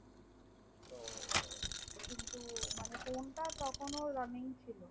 মানে phone তা তখন ও running ছিল